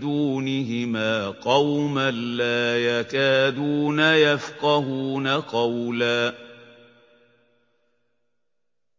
دُونِهِمَا قَوْمًا لَّا يَكَادُونَ يَفْقَهُونَ قَوْلًا